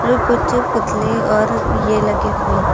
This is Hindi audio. और कुछ पुतले और ये लगे हुए हैं।